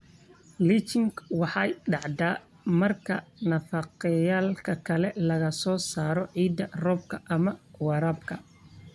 Leaching waxay dhacdaa marka nafaqeeyayaalka laga soo saaro ciidda roobka ama waraabka.